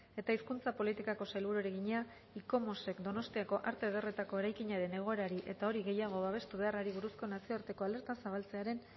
eta hizkuntza politikako sailburuari egina icomos ek donostiako arte ederretako eraikinaren egoerari eta hori gehiago babestu beharrari buruzko nazioarteko alerta zabaltzearen